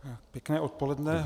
Pěkné odpoledne.